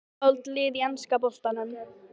Uppáhald lið í enska boltanum?